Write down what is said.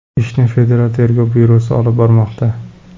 Ishni Federal tergov byurosi olib bormoqda.